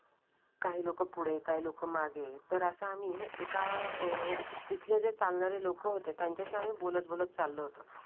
काही लोक पुढे काही लोकं मागे तर असं आम्ही एका अं तिथे जे चालणारे लोक होते त्याच्याशी आम्ही बोलत बोलत चाललो होतो.